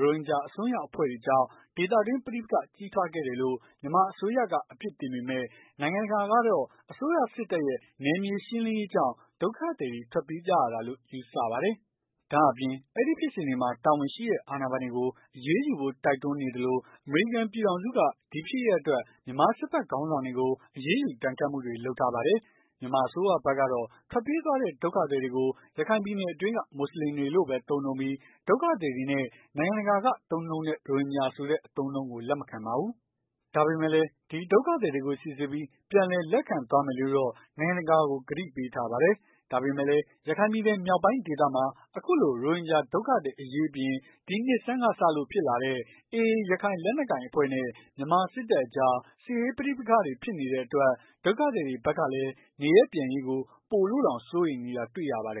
ရိုဟင်ဂျာအစွန်းရောက်အဖွဲ့ကြောင့် ဒေသတွင်းပဋိပက္ခကြီးထွားခဲ့တယ်လို့ မြန်မာအစိုးရက အပြစ်တင် ပေမယ့်၊ နိုင်ငံတကာကတော့ အစိုးရစစ်တပ်ရဲ့ နယ်မြေရှင်းလင်းရေးစစ်ကြောင့် ဒုက္ခသည်တွေ ထွက်ပြေးကြရတယ်လို့ ယူဆပါတယ်။ ဒါ့အပြင် အဲဒီဖြစ်စဉ်တွေမှာ တာဝန်ရှိသူတဲ့အာဏာပိုင်တွေကို အရေးယူဖို့ တိုက်တွန်းနေသလို၊ အမေရိကန်ပြည်ထောင်စုက ဒီဖြစ်ရပ် အတွက် မြန်မာစစ်ဖက်ခေါင်းဆောင် တွေကို အရေးယူ ဒဏ်ခတ်မှုတွေ လုပ်ထား ပါတယ်။ မြန်မာအစိုးရဖက်ကတော့ ထွက်ပြေးသွားတဲ့ဒုက္ခသည်တွေကို ရခိုင်ပြည်နယ်အတွင်းက မွတ်ဆလင်တွေလို့ပဲ သုံးပြီး၊ ဒုက္ခသည်တွေနဲ့ နိုင်ငံတကာက သုံးနှုံးတဲ့ ရိုဟင်ဂျာဆိုတဲ့ အသုံးအနှုန်းကို လက်မခံပါဘူး။ ဒါပေမယ့်လည်း ဒီ ဒုက္ခသည်တွေကို စီစစ်ပြီး ပြန်လည်လက်ခံသွားမယ်လို့တော့ နိုင်ငံတကာကို ကတိပေးထားပါတယ်။ ဒါပေမယ့်လည်း ရခိုင်မြောက်ပိုင်းဒေသမှာ အခုလို ရိုဟင်ဂျာဒုက္ခသည်အရေးအပြင်၊ ဒီနှစ်ဆန်းကစလို့ ဖြစ်လာတဲ့ AA ရခိုင်လက်နက်ကိုင်အဖွဲ့နဲ့ မြန်မာစစ်တပ်အကြား စစ်ရေးပဋိပက္ခတွေဖြစ်တဲ့နေအတွက် ဒုက္ခသည်တွေဖက်ကလည်း နေရပ်ပြန်ရေးကို ပိုလို့ စိုးရိမ်နေကြတာတွေ့ရပါတယ်